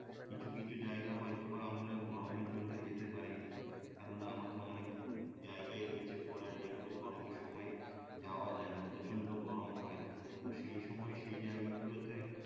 কিছু কিছু জায়গা হয়তো বা আমরা গরমের জন্যে যেতে পারি না কেননা আমাদের অনেক জায়গাই রয়েছে ঘোরার যেগুলো গরমের সময় যাওয়া যায় না প্রচন্ড গরম হয় তো সেই সময় সেই জায়গাগুলোতে